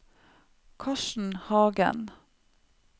Karsten Hagen